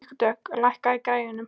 Vígdögg, lækkaðu í græjunum.